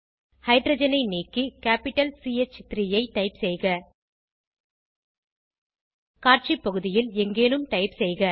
ஹைட்ரஜனை நீக்கி capital C H 3 ஐ டைப் செய்க காட்சி பகுதியில் எங்கேனும் டைப் செய்க